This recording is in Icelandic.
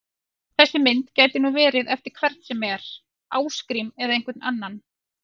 Þessi mynd gæti nú verið eftir hvern sem er, Ásgrím eða einhvern annan!